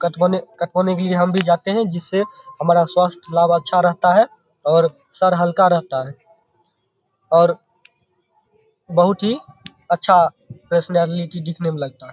कटवाने कटवाने के लिए हम भी जाते हे जिससे हमारा स्वाथ लाभ अच्छा रहता है और सर हलका रहता है| और बहुत ही अच्छा पर्सनालिटी दिखने में लगता है।